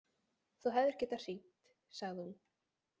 Þú hefðir getað hringt, sagði hún.